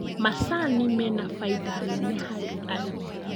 Macani mena faida nene harĩ arĩmi